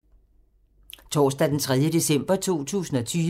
Torsdag d. 3. december 2020